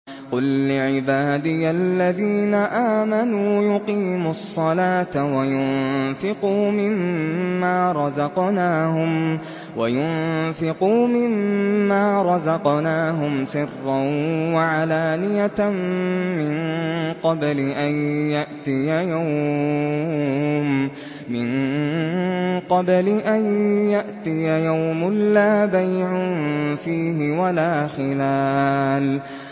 قُل لِّعِبَادِيَ الَّذِينَ آمَنُوا يُقِيمُوا الصَّلَاةَ وَيُنفِقُوا مِمَّا رَزَقْنَاهُمْ سِرًّا وَعَلَانِيَةً مِّن قَبْلِ أَن يَأْتِيَ يَوْمٌ لَّا بَيْعٌ فِيهِ وَلَا خِلَالٌ